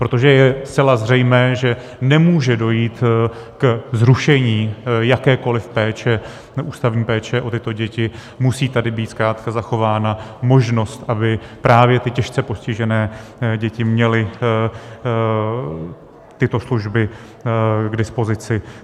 Protože je zcela zřejmé, že nemůže dojít ke zrušení jakékoliv péče, ústavní péče o tyto děti, musí tady být zkrátka zachována možnost, aby právě ty těžce postižené děti měly tyto služby k dispozici.